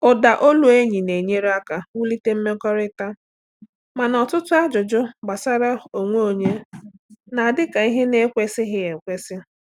Ụda olu enyi na-enyere aka wulite mmekọrịta, mana ọtụtụ ajụjụ gbasara onwe onye na-adị ka ihe na-ekwesịghị ekwesị.